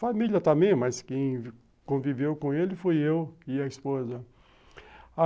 Família também, mas quem conviveu com ele fui eu e a esposa.